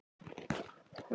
Sóla vildi fara með honum.